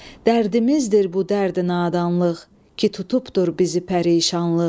Dərdimizdir bu dərdi-nadanlıq, ki tutubdur bizi pərişanlıq.